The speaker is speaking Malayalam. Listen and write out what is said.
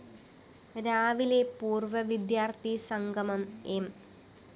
രാവിലെ പൂര്‍വ്വ വിദ്യാര്‍ഥി സംഗമം എം